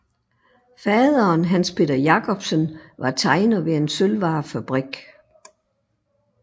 Faderen Hans Peter Jacobsen var tegner ved en sølvvarefabrik